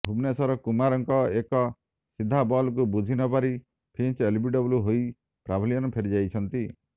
ଭୁବନେଶ୍ୱର କୁମାରଙ୍କ ଏକ ସିଧା ବଲକୁ ବୁଝି ନ ପାରି ଫିଞ୍ଚ ଏଲବିଡବ୍ଲ୍ୟୁ ହୋଇ ପାଭିଲିୟନ ଫେରିଯାଇଛନ୍ତି